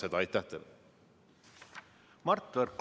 Mart Võrklaev, palun!